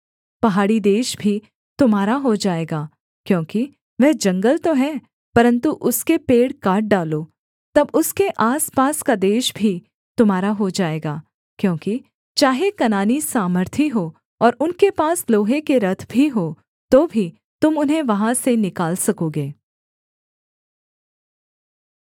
पहाड़ी देश भी तुम्हारा हो जाएगा क्योंकि वह जंगल तो है परन्तु उसके पेड़ काट डालो तब उसके आसपास का देश भी तुम्हारा हो जाएगा क्योंकि चाहे कनानी सामर्थी हों और उनके पास लोहे के रथ भी हों तो भी तुम उन्हें वहाँ से निकाल सकोगे